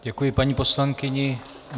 Děkuji paní poslankyni.